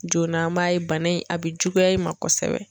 Joona an b'a ye bana in a bi juguya i ma kosɛbɛ